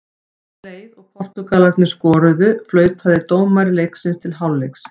Leið og Portúgalarnir skoruðu, flautaði dómari leiksins til hálfleiks.